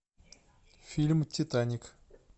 фильм титаник